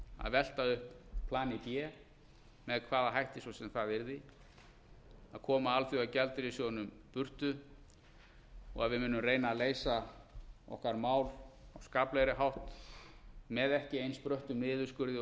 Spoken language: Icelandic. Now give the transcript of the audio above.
að velta upp plani b með hvaða hætti svo sem það yrði að koma alþjóðagjaldeyrissjóðnum burtu og við munum reyna að leysa okkar mál á skaplegri hátt með ekki eins bröttum niðurskurði